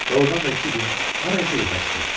Doğurdan da iki gün harasa yoxa çıxır.